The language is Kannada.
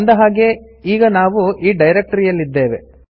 ಅಂದ ಹಾಗೆ ಈಗ ನಾವು ಈ ಡೈರೆಕ್ಟರಿಯಲ್ಲಿ ಇದ್ದೇವೆ